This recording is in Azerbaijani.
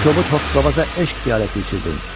Bu kobud hoqqabaza eşq piyaləsi içirdin.